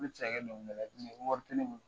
Ne bɛ fɛ ka kɛ dongili ye, wari tɛ ne bolo.